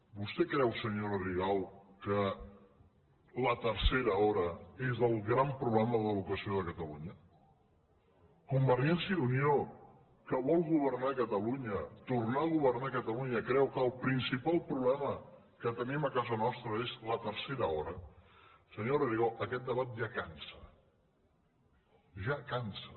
vostè creu senyora rigau que la tercera hora és el gran problema de l’educació de catalunya convergència i unió que vol governar catalunya tornar a governar ca·talunya creu que el principal problema que tenim a casa nostra és la tercera hora senyora rigau aquest debat ja cansa ja cansa